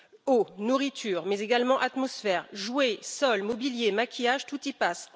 Eau, nourriture, mais également atmosphère, jouets, sols, mobiliers, maquillage, tout y passe.